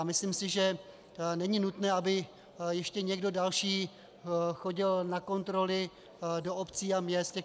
A myslím si, že není nutné, aby ještě někdo další chodil na kontroly do obcí a měst.